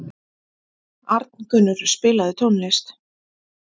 Arngunnur, spilaðu tónlist.